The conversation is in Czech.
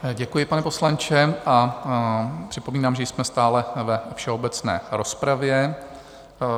Děkuji, pane poslanče, a připomínám, že jsme stále ve všeobecné rozpravě.